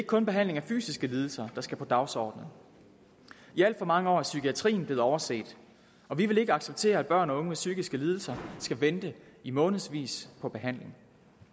kun behandling af fysiske lidelser der skal på dagsordenen i alt for mange år er psykiatrien blevet overset og vi vil ikke acceptere at børn og unge med psykiske lidelser skal vente i månedsvis på behandling